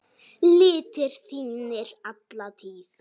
litir þínir alla tíð.